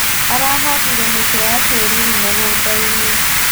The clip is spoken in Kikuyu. Arahandire mĩtĩ ya kĩruru mũgũndainĩ.